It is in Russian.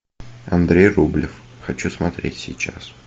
андрей рублев хочу смотреть сейчас